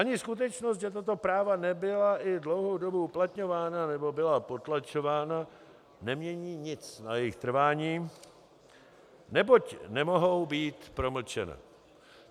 Ani skutečnost, že tato práva nebyla i dlouhou dobu uplatňována nebo byla potlačována, nemění nic na jejich trvání, neboť nemohou být promlčena.